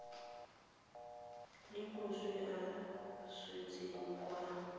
le moswi a swetseng kwa